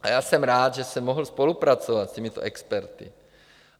A já jsem rád, že jsem mohl spolupracovat s těmito experty.